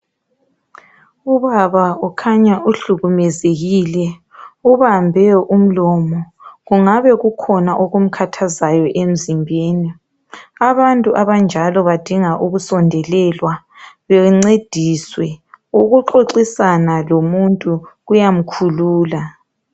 Ubaba ukhanya uhlukumezekile. Ubambe umlomo. Kungabe kukhona okumkhathazayo emzimbeni. Abantu abanjalo badinga ukusondelelwa, bencediswe. Ukuxoxisana lomuntu kuyamkhulula.